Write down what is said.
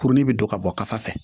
Kurunin bɛ don ka bɔ kafa fɛ